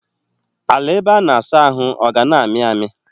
Ala ebe a na-asa ahụ ọ ga na-ami ami?